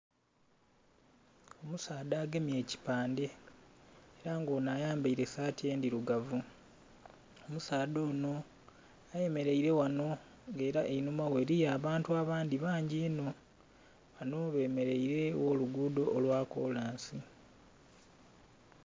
Omusaadha agemye ekipande era nga ono ayambaire saati ndhirugavu omusaadha ono ayemeleire ghano nga era einhuma ghe eliyo abantu abandhi bangyi inho bano bemeleire gholuguudo lwa kolansi